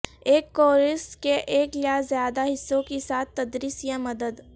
ایک کورس کے ایک یا زیادہ حصوں کے ساتھ تدریس یا مدد